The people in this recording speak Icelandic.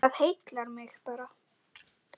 Það heillar mig bara.